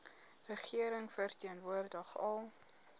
regering verteenwoordig al